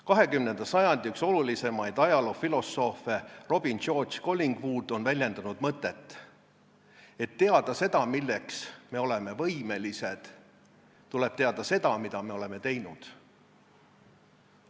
20. sajandi üks olulisemaid ajaloofilosoofe Robin George Collingwood on väljendanud mõtet "et teada seda, milleks me oleme võimelised, tuleb teada seda, mida me oleme teinud".